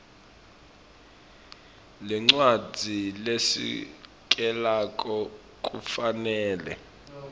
lencwadzi lesekelako kufanele